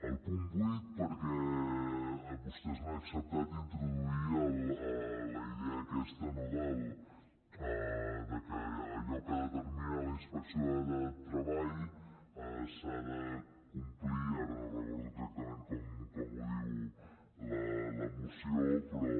el punt vuit perquè vostès han acceptat introduir la idea aquesta que allò que determina la inspecció de treball s’ha de complir ara no recordo exactament com ho diu la moció però